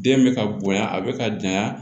Den bɛ ka bonya a bɛ ka janya